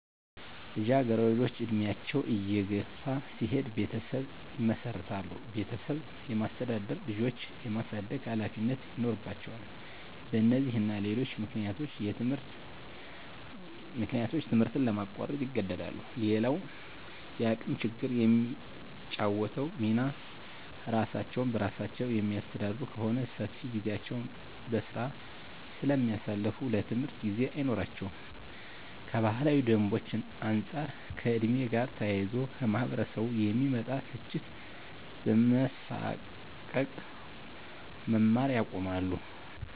ልጃገረዶች እድሜያቸው እየገፋ ሲሄድ ቤተሰብ ይመሰርታሉ ቤተሰብ የማስተዳደር፣ ልጆች የማሳደግ ሀላፊነቶች ይኖርባቸዋል በነዚህና ሌሎች ምክንያቶች ትምህርት ለማቋረጥ ይገደዳሉ። _ሌላዉ የአቅም ችግር የሚጫወተዉ ሚና እራሳቸዉን በራሳቸዉ የሚያስተዳድሩ ከሆነ ሰፊ ጊዜያቸዉን በስራ ስለሚያሳልፋ ለትምህርት ጊዜ አይኖራቸውም _ከባህላዊ ደንቦች አንፃር ከ ዕድሜ ጋር ተያይዞ ከማህበረሰቡ የሚመጣ ትችት በመሳቀቅ መማር ያቆማሉ